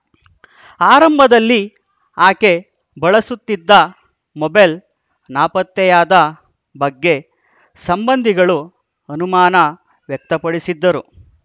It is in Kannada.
ಆರಂಭದಲ್ಲಿ ಆಕೆ ಬಳಸುತ್ತಿದ್ದ ಮೊಬೈಲ್‌ ನಾಪತ್ತೆಯಾದ ಬಗ್ಗೆ ಸಂಬಂಧಿಗಳು ಅನುಮಾನ ವ್ಯಕ್ತಪಡಿಸಿದ್ದರು